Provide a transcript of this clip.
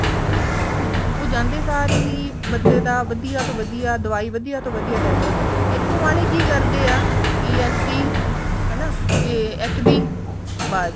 ਉਹ ਜਾਂਦੇ ਸਾਰ ਹੀ ਬੰਦੇ ਦਾ ਵਧੀਆ ਤੋਂ ਵਧੀਆ ਦਵਾਈ ਵਧੀਆ ਤੋਂ ਵਧੀਆ test ਇੱਥੋਂ ਆਲੇ ਕੀ ਕਰਦੇ ਆ TLC ਹਨਾ ਤੇ HB ਬੱਸ